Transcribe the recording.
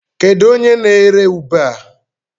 Kedu onye n'ere ube a?